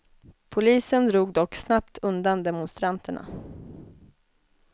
Polisen drog dock snabbt undan demonstranterna.